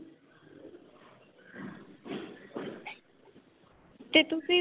ਤੇ ਤੁਸੀਂ